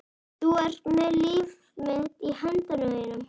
Þú ert með líf mitt í höndum þínum.